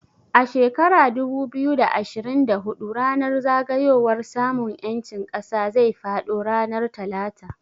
A shekara dubu biyu da ashirin da hudu ranar zagayowar samun ƴancin ƙasa zai faɗo ranar Talata